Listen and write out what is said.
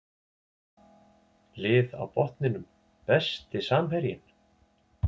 Lið á botninum Besti samherjinn?